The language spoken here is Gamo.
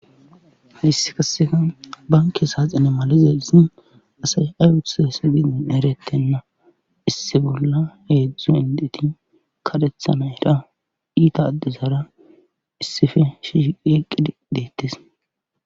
hayssi kaseka banke saaxine malizeisi asay ay utuse se didin erettenna issi bolla eedzdzu hendeti kadethana era iita addisara issife shiyeqqi deettes